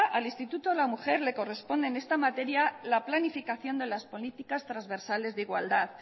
al instituto de la mujer le corresponde en esta materia la planificación de las políticas trasversales de igualdad